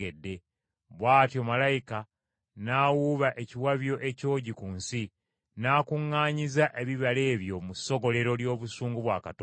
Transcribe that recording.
Bw’atyo malayika n’awuuba ekiwabyo ekyogi ku nsi, n’akuŋŋaanyiza ebibala ebyo mu ssogolero ly’obusungu bwa Katonda.